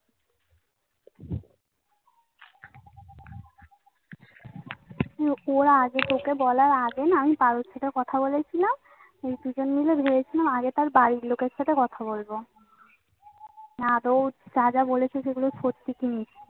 ওরা আছে তো ওকে বলার আগে না. আমি কারোর সাথে কথা বলেছিলাম. সেই দুজন মিলে ভেবেছিলাম আগে তার বাড়ির লোকের সাথে কথা বলবো. না আদৌ যা যা বলেছে সত্যি শুনি.